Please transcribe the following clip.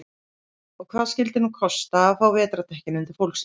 Og hvað skyldi nú kosta að fá vetrardekkin undir fólksbílinn?